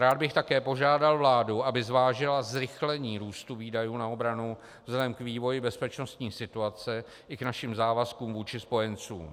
Rád bych také požádal vládu, aby zvážila zrychlení růstu výdajů na obranu vzhledem k vývoji bezpečností situace i k našim závazkům vůči spojencům.